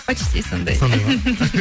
почти сондай сондай ма